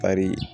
Ari